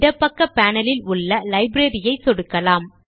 இடப்பக்க பேனல் ல் உள்ள லைப்ரரி ஐ சொடுக்கலாம்